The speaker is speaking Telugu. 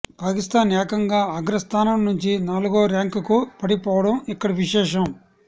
పాకిస్థాన్ ఏకంగా అగ్రస్థానం నుంచి నాలుగో ర్యాంకుకు పడిపోవడం ఇక్కడ విశేషం